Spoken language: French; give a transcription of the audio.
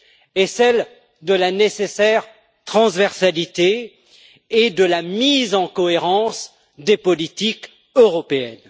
est celle de la nécessaire transversalité et de la mise en cohérence des politiques européennes.